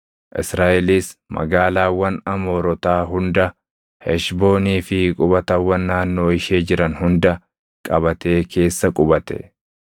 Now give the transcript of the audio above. Israaʼelis magaalaawwan Amoorotaa hunda, Heshboonii fi qubatawwan naannoo ishee jiran hunda qabatee keessa qubate.